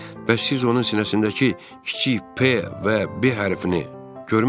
Bəs siz onun sinəsindəki kiçik P və B hərfini görmüsünüzmü?